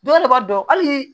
Dɔw yɛrɛ b'a dɔn halii